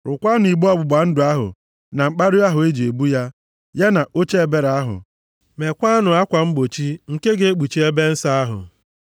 Rụkwanụ igbe ọgbụgba ndụ ahụ, na mkpara ahụ e ji ebu ya. Ya na oche ebere ahụ. Mekwaanụ akwa mgbochi nke ga-ekpuchi ebe nsọ ahụ,